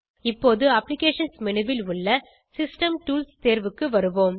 இப்போது applications menu ல் உள்ள சிஸ்டம் டூல்ஸ் தேர்வுக்கு வருவோம்